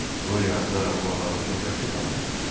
Qoryo ata o adamı çox yaxşı tanıyır.